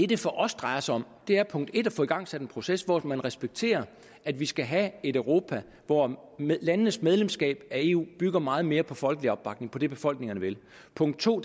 det for os drejer sig om er punkt en at få igangsat en proces hvor man respekterer at vi skal have et europa hvor landenes medlemskab af eu bygger meget mere på folkelig opbakning på det befolkningerne vil punkt to